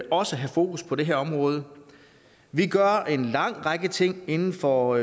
også have fokus på det her område vi gør en lang række ting inden for